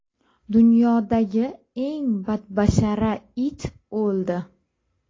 Dunyodagi eng badbashara it o‘ldi.